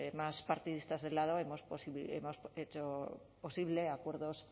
más partidistas de lado hemos hecho posible acuerdos